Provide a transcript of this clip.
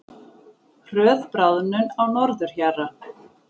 Hröð bráðnun á norðurhjara